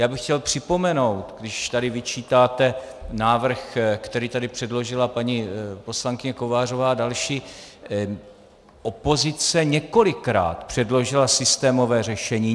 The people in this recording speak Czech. Já bych chtěl připomenout, když tady vyčítáte návrh, který tady předložila paní poslankyně Kovářová a další, opozice několikrát předložila systémové řešení.